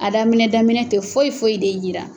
A daminɛ daminɛ tɛ foyi foyi de yira.